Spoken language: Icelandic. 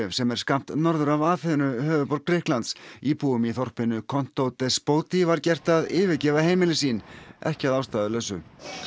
sem er skammt norður af Aþenu höfuðborg Grikklands íbúum í þorpinu var gert að yfirgefa heimili sín ekki að ástæðulausu